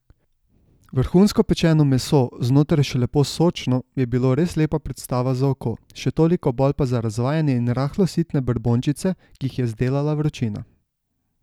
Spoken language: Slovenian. Vrhunsko pečeno meso, znotraj še lepo sočno, je bilo res lepa predstava za oko, še toliko bolj pa za razvajene in rahlo sitne brbončice, ki jih je zdelala vročina.